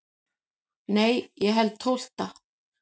Nei ég held tólfta.